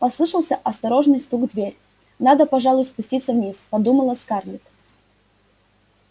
послышался осторожный стук в дверь надо пожалуй спуститься вниз подумала скарлетт